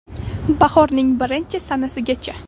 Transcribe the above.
Bahorning birinchi sanasigacha!